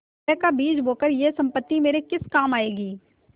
कलह का बीज बोकर यह सम्पत्ति मेरे किस काम आयेगी